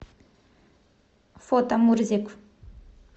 фото мурзик